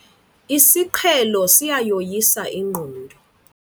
Isiqhelo siyayoyisa ingqondo.